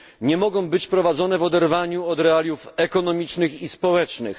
nie mogą być prowadzone w oderwaniu od realiów ekonomicznych i społecznych.